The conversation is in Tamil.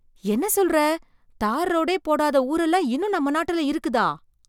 என்ன சொல்ற, தார் ரோடே போடாத ஊர் எல்லாம் இன்னும் நம்ம நாட்டுல இருக்குதா?